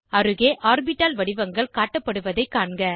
அருகே ஆர்பிட்டால் வடிவங்கள் காட்டப்படுவதைக் காண்க